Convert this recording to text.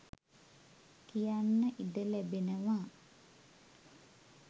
කියන්න ඉඩ ලැබෙනවා